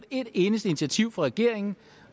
et eneste initiativ fra regeringen